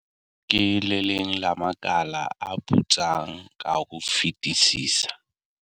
"Ke le leng la makala a putsang ka ho fetisisa."